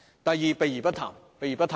第二，避而不談。